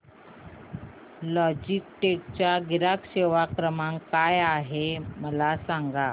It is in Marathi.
लॉजीटेक चा ग्राहक सेवा क्रमांक काय आहे मला सांगा